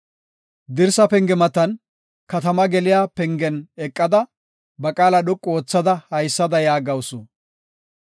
Dirsa penge matan, katamaa geliya pengen eqada, ba qaala dhoqu oothada haysada yaagawusu.